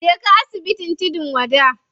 Je ka asibitin tudun wada.